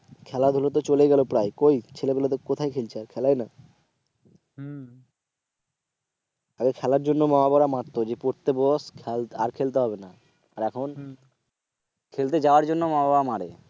খেলাধুলা তো চলে গেল প্রায় কই ছেলেপেলে কোথায় খেলছে? খেলেই না হম আগে খেলার জন্য মা বাবারা মারতো যে পড়তে বস আর খেলতে হবে না আর এখন খেলতে না যাওয়ার জন্য বাবা মারা মারে